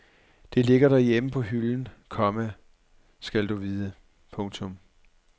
Det ligger derhjemme på hylden, komma skal du vide. punktum